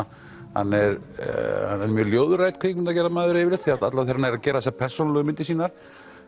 að hann er ljóðrænn kvikmyndagerðarmaður yfirleitt allavega þegar hann gerir þessar persónulegu myndir sínar